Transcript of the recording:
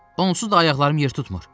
Onsuz da ayaqlarım yer tutmur.